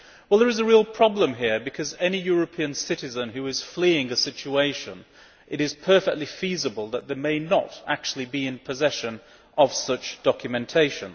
There is a real problem here, because for any European citizen who is fleeing a situation, it is perfectly feasible that they may not actually be in possession of such documentation.